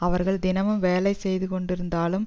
அவர்கள் தினமும் வேலை செய்து கொண்டிருந்தாலும்